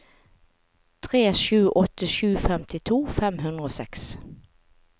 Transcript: tre sju åtte sju femtito fem hundre og seks